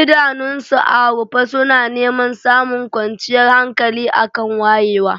idanunsu a rufe suna neman samun kwanciyar hankali a kan wayewa.